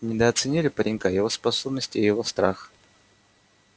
недооценили паренька его способности и его страх